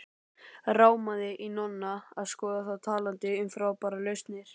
Rámaði í Nonna að skoða þá talandi um frábærar lausnir.